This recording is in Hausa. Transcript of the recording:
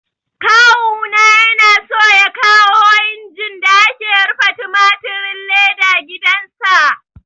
Kawu na yana so ya kawo injin da ake rufe tumatirin leda gidan sa